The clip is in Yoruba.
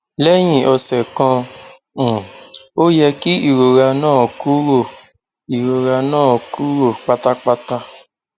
lẹ́yìn ọ̀sẹ̀ kan um ó yẹ kí ìrora náà kúrò ìrora náà kúrò pátápátá